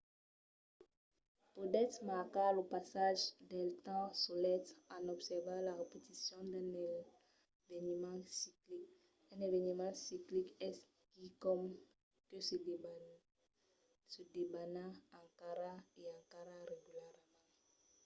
podètz marcar lo passatge del temps solet en observar la repeticion d’un eveniment ciclic. un eveniment ciclic es quicòm que se debana encara e encara regularament